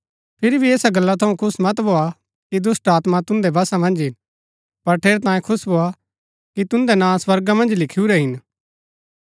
फिरी भी ऐसा गल्ला थऊँ खुश मत भोआ कि दुष्‍टात्मा तुदैं वशा मन्ज हिन पर ठेरैतांये खुश भोआ कि तुन्दै नां स्वर्गा मन्ज लिखुरै हिन